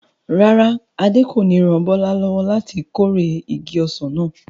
Rárá, Adé kò ní ran Bọ́lá lọ́wọ́ láti kórè igi ọsàn náà.